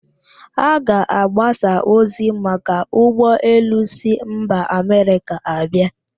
A ga-agbasa ozi maka ụgbọ elu si mba Amerịka abịa?